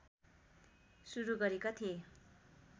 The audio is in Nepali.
सुरु गरेका थिए